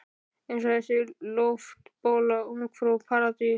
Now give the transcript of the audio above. Eins og þessi loftbóla Ungfrú Paradís.